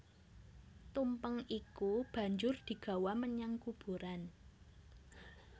Tumpeng iku banjur digawa menyang kuburan